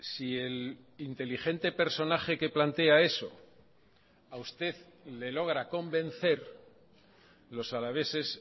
si el inteligente personaje que plantea eso a usted le logra convencer los alaveses